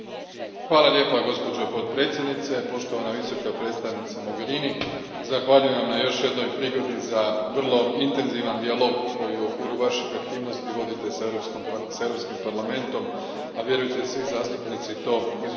Gospođo potpredsjednice, poštovana Visoka predstavnice Mogherini, zahvaljujem na još jednoj prigodi za vrlo intenzivan dijalog koji u okviru vaših aktivnosti vodite s Europskim parlamentom, a vjerujte, svi zastupnici to izuzetno cijene.